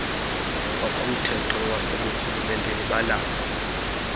ngokomthetho waseburhulumenteni banakho